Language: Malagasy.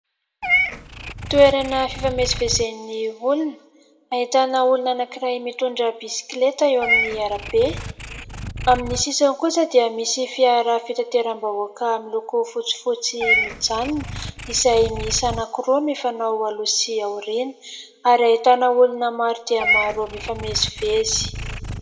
Toerana fifamezivezen'ny olona, ahitana olona anankiray mitondra bisikileta eo amin'ny arabe. Amin'ny sisiny kosa dia misy fiara fitateram-bahoaka miloko fotsifotsy mijanona, izay miisa anankiroa mifanao aloha sy aoriana, ary ahitana olona maro dia maro mifamezivezy.